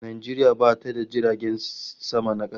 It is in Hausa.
Najeriya bata da jiragen sama na kasa